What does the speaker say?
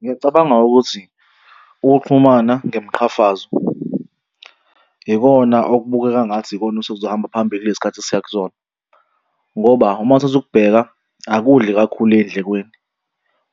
Ngiyacabanga ukuthi ukuxhumana ngemiqhafazo ikona okubukeka ngathi ikona osekuzohamba phambili kulesi khathi esiya kusona ngoba uma uthatha ukubheka akudli kakhulu ey'ndlekweni.